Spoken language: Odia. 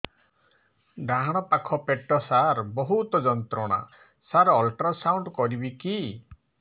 ଡାହାଣ ପାଖ ପେଟ ସାର ବହୁତ ଯନ୍ତ୍ରଣା ସାର ଅଲଟ୍ରାସାଉଣ୍ଡ କରିବି କି